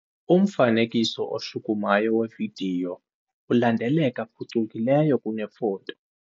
Umfanekiso oshukumayo wevidiyo ulandeleka phucukileyo kunefoto.